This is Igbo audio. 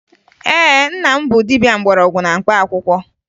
Ee, nna m bụ dibia mgbọrọgwụ na mkpaakwụkwọ